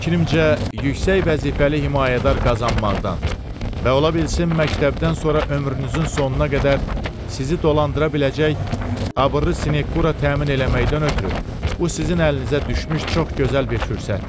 Mənim fikrimcə, yüksək vəzifəli himayədar qazanmaqdan və ola bilsin məktəbdən sonra ömrünüzün sonuna qədər sizi dolandıra biləcək abırlı sinyekura təmin eləməkdən ötrü bu sizin əlinizə düşmüş çox gözəl bir fürsətdir.